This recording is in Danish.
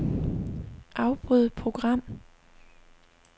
Afbryd program.